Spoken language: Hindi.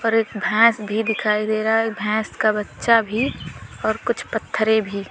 एक भैंस भी दिखाई दे रहा है भैंस का बच्चा भी और कुछ पत्थरे भी--